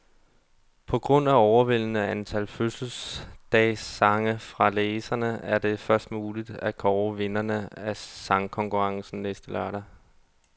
På grund af overvældende antal fødselsdagssange fra læserne, er det først muligt at kåre vinderne af sangkonkurrencen næste søndag.